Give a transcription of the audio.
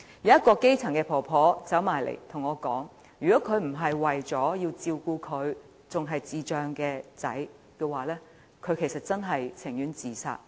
一名基層婆婆過來跟我說，如果她不是為了照顧智障兒子，便寧願自殺。